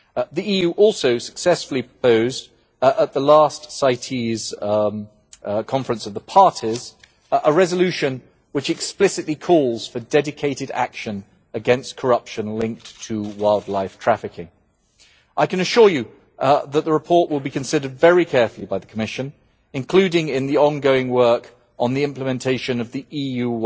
The EU also successfully proposed, at the last Conference of the Parties to CITES, a resolution which explicitly calls for dedicated action against corruption linked to wildlife trafficking. I can assure you that the report will be considered very carefully by the Commission, including in the ongoing work on the implementation of the